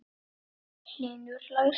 Hlynur hlær.